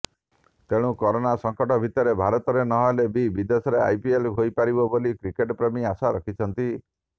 ତେଣୁ କରୋନା ସଙ୍କଟ ଭିତରେ ଭାରତରେ ନହେଲେ ବି ବିଦେଶରେ ଆଇପିଏଲ୍ ହୋଇପାରିବ ବୋଲି କ୍ରିକେଟପ୍ରେମୀ ଆଶା ରଖିଛନ୍ତି